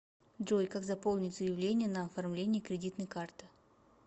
джой как заполнить заявление на оформление кредитной карты